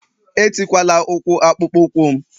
Etikwala ụkwụ akpụkpọ ụkwụ m